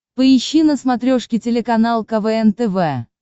поищи на смотрешке телеканал квн тв